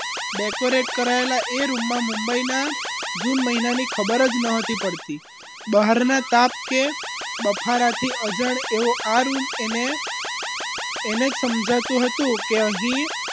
decorate કરાયેલા એ રૂમમાં મુંબઈના જૂન મહિનાની ખબર જ ન હતી પડતી બહારના તાપ કે બફારા થી અજાણ એવો આ રૂમ એને એને જ સમજાતું હતું કે અહીં